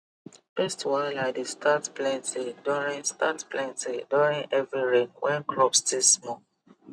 pest wahala dey start plenty during start plenty during heavy rain when crops still small